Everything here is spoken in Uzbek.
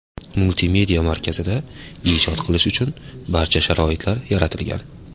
Multimedia markazida ijod qilish uchun barcha sharoitlar yaratilgan.